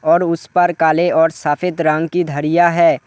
और उस पार काले और सफेद रंग की धरिया है।